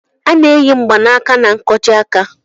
A na-eyi mgbaaka na nkwojiaka.